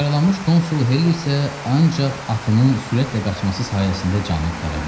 Yaralanmış konsul Helli isə ancaq atının sürətlə qaçması sayəsində canını qurtara bildi.